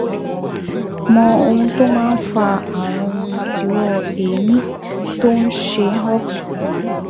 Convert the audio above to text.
Mọ ohun tó máa ń fa ààrùn idíwọ́ èémí tó ń ṣe ọ́